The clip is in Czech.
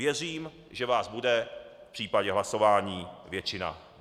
Věřím, že vás bude v případě hlasování většina.